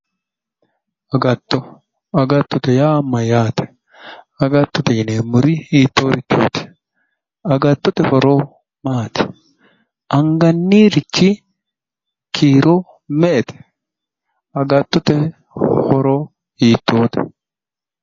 Agatto agattote yaa mayyaate agattote yineemmorichi hiittoriichooti agattote horo maati angannirichi kiiro me"ete agattote horo hiittoote